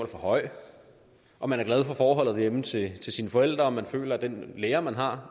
for høj om man er glad for forholdet derhjemme til sine forældre om man føler at den lærer man har